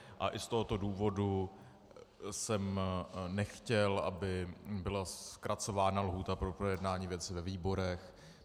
A i z tohoto důvodu jsem nechtěl, aby byla zkracována lhůta pro projednání věci ve výborech.